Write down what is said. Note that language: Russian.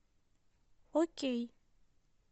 окей